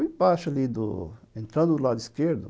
Ficava embaixo, ali do... Entrando do lado esquerdo.